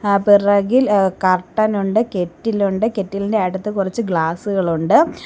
ആ പിറകിൽ ഏഹ് കർട്ടൻ ഉണ്ട് കെറ്റിൽ ഉണ്ട് കെറ്റിലിന്റെ അടുത്ത് കുറച്ച് ഗ്ലാസുകൾ ഉണ്ട്.